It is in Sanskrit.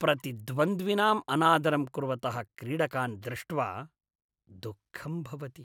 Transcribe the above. प्रतिद्वन्द्विनाम् अनादरं कुर्वतः क्रीडकान् दृष्ट्वा दुःखं भवति।